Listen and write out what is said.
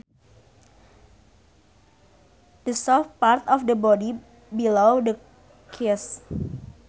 The soft part of the body below the chest